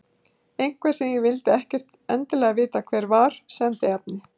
Einhver, sem ég vildi ekkert endilega vita hver var, sendi efni.